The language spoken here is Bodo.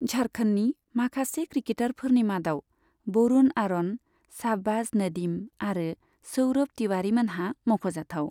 झारखन्डनि माखासे क्रिकेटारफोरनि मादाव बरुण आर'न, शाहबाज नदीम आरो सौरभ तिवारीमोनहा मख'जाथाव।